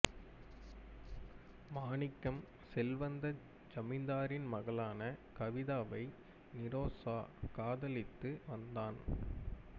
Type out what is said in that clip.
மாணிக்கம் செல்வந்த ஜமீன்தாரின் மகளான கவிதாவை நிறோசா காதலித்து வந்தான்